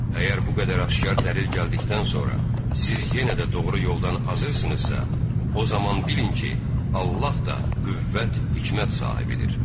Əgər bu qədər aşkar dəlil gəldikdən sonra siz yenə də doğru yoldan azırsınızsa, o zaman bilin ki, Allah da qüvvət, hikmət sahibidir.